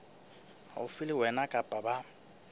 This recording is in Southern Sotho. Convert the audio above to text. haufi le wena kapa ba